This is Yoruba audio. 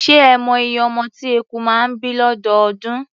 Ṣé ẹ mọ iye ọmọ tí eku máa ń bí lọ́dọọdún?